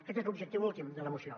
aquest és l’objectiu últim de la moció